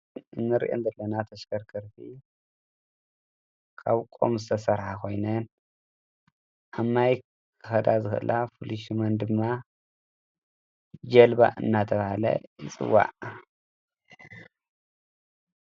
እንሪአን ዘለና ተሽከርከርቲ ካብ ቆም ዝተሰርሓ ኮይነን ኣብ ማይ ክኸዳ ዝኽእላ ፍሉይ ሽመን ድማ ጀልባ እናተባህላ ይፅዋዕ፡፡